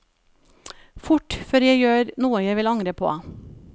Fort, før jeg gjør noe jeg vil angre på.